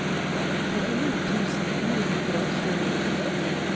trettini tusen ni hundre og tjueni